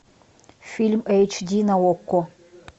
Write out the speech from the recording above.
фильм эйч ди на окко